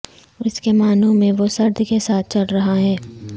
اس کے معنوں میں وہ سرد کے ساتھ چل رہا ہے